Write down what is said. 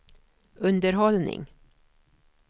underhållning